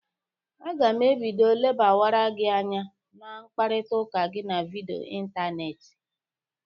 Aga m ebido lebawara gị anya na mkparịtaụka gị na vidịo ịntanetị.